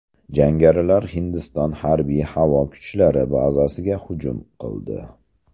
Jangarilar Hindiston harbiy-havo kuchlari bazasiga hujum qildi.